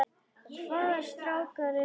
Hvaða strákar eru það?